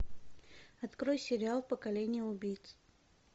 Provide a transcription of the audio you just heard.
открой сериал поколение убийц